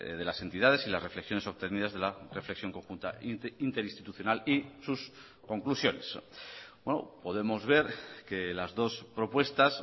de las entidades y las reflexiones obtenidas de la reflexión conjunta interinstitucional y sus conclusiones podemos ver que las dos propuestas